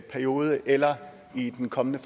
periode eller i den kommende